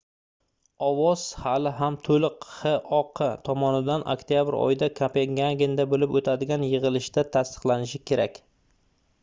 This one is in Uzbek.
ovoz hali ham toʻliq xoq tomonidan oktyabr oyida kopengagenda boʻlib oʻtadigan yigʻilishida tasdiqlanishi kerak